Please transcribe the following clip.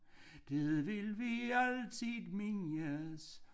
Det vil vi altid mindes